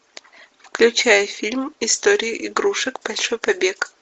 включай фильм история игрушек большой побег